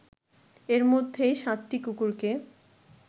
এর মধ্যেই সাতটি কুকুরকে